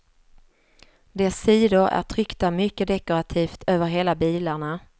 Dess sidor är tryckta mycket dekorativt över hela bilarna.